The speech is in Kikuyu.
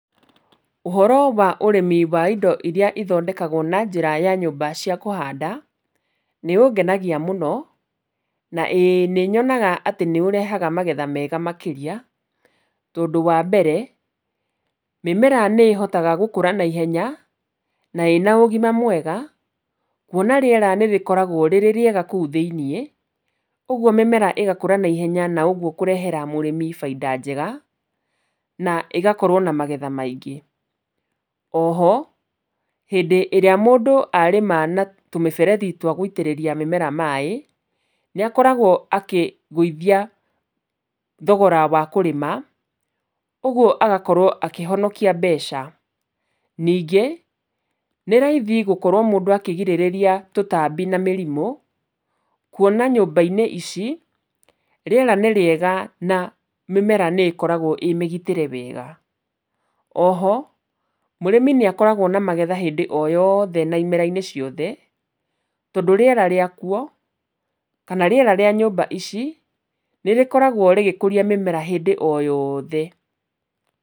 Ũhoro wa ũrĩmi wa indo iria ithondekagwo na njĩra ya nyũmba cia kũhanda, nĩũngenagia mũno na ĩ nĩnyonaga atĩ nĩũrehaga magetha mega makĩria, tondũ wambere, mĩmera nĩ ĩhotaga gũkũra naihenya, na ĩna ũgima mwega, kuona rĩera nĩ rĩkoragwo rĩ rĩega kũu thĩinĩ, ũguo mĩmera ĩgakũra naihenya na ũguo kũrehera mũrĩmi bainda njega, na ĩgakorwo na magetha maingĩ. Oho, hĩndĩ ĩrĩa mũndũ arĩma na tũmĩberethi twa gũitĩrĩria mĩmera maĩ, nĩ akoragwo akĩgũithia thogora wa kũrĩma, ũguo agakorwo akĩhonokia mbeca. Ningĩ nĩ raithi gũkorwo mũndũ akĩgirĩrĩria tũtambi na mĩrimũ, kuona nyũmba-inĩ ici, rĩera nĩ rĩega na mĩmera nĩ ĩkoragwo ĩ mĩgitĩre wega, oho, mũrĩmi nĩ akoragwo na magetha hĩndĩ o yothe na na imera-inĩ ciothe, tondũ rĩera rĩakuo, kana rĩera rĩa nyũmba ici, nĩ rĩkoragwo rĩgĩkũria mĩmera hĩndĩ o yothe.